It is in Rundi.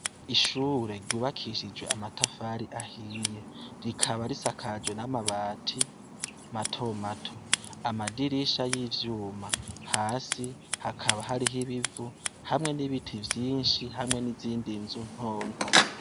Ishure ryubakishijwe amatafari ahiye. Rikaba risakajwe n'amabati mato mato. Amadirisha y'ivyuma. Hasi hakaba hariho ibivu hamwe n'ibiti vyinshi, hamwe n'izindi nzu ntonto.